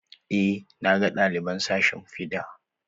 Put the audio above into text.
Eh, na ga ɗaliban sashin fiɗa.